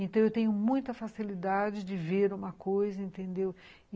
Então, eu tenho muita facilidade de ver uma coisa, entendeu?